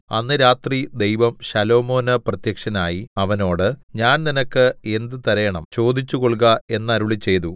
അന്ന് രാത്രി ദൈവം ശലോമോന് പ്രത്യക്ഷനായി അവനോട് ഞാൻ നിനക്ക് എന്ത് തരേണം ചോദിച്ചു കൊൾക എന്നരുളിച്ചെയ്തു